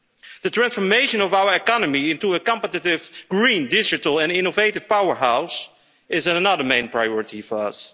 act. The transformation of our economy into a competitive green digital and innovative powerhouse is another main priority for